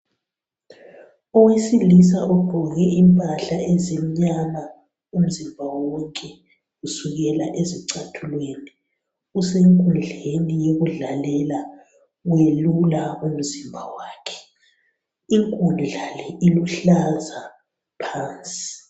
owesilisa ogqoke impahla ezimnyama umzimba wonke kusukela ezicathulweni usenkudleni yokudlalela uyelula umzimba wakhe inkundla le iluhlaza phansi